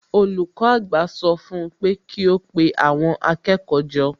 Olùkọ́ àgbà sọ fún un pé kí ó pe àwọn akẹ́kọ̀ọ́ jọ